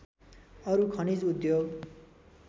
अरू खनिज उद्योग